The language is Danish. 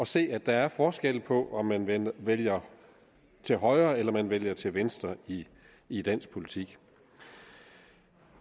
se at der er forskel på om man vælger til højre eller om man vælger til venstre i i dansk politik